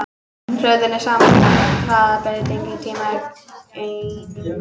Hröðun er sama og hraðabreyting á tímaeiningu.